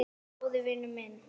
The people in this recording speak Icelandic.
Stóri vinur minn.